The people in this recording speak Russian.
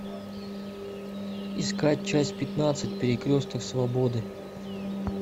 искать часть пятнадцать перекресток свободы